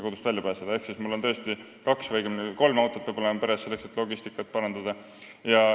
Peres peab tõesti olema kaks või õigemini kolm autot, selleks et logistikat parandada.